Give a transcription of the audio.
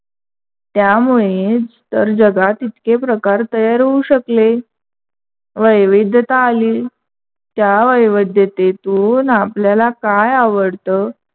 त्यामुळेच तर जगात इतके प्रकार तयार होऊ शकले. वैविधता आली. त्या वैविधतेतून आपल्याला काय आवडत?